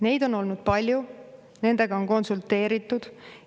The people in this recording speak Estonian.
Neid on olnud palju, nendega on konsulteeritud.